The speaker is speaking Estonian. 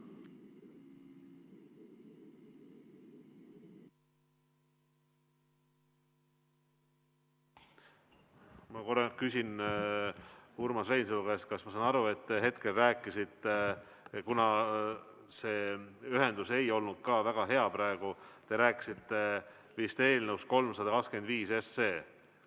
Ma küsin Urmas Reinsalu käest: kas ma saan õigesti aru, et te hetkel rääkisite eelnõust 325?